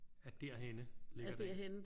At derhenne ligger der en?